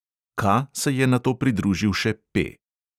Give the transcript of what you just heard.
K se je nato pridružil še P.